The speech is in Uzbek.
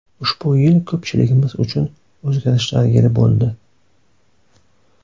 Ushbu yil ko‘pchiligimiz uchun o‘zgarishlar yili bo‘ldi.